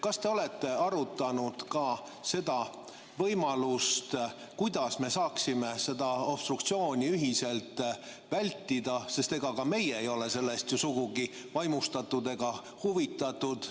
Kas te olete arutanud ka seda võimalust, kuidas me saaksime seda obstruktsiooni ühiselt vältida, sest ka meie ei ole sellest sugugi vaimustatud ega huvitatud?